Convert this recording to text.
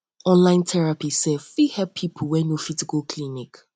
online therapy sef fit help pipo wey no fit go clinic